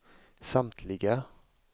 samtliga